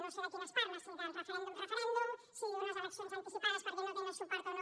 no sé de quines parla si del referèndum si d’unes eleccions anticipades perquè no tenen suport o no